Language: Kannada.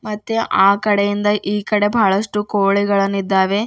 ಮತ್ತೆ ಆಕಡೆಯಿಂದ ಈಕಡೆ ಬಹಳಷ್ಟು ಕೋಳಿಗಳನ್ನಿದ್ದಾವೆ.